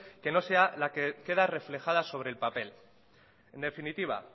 que no sea la queda reflejada sobre el papel en definitiva